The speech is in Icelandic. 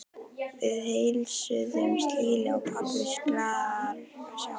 Við heilsuðumst hlýlega og pabbi virtist glaður að sjá mig.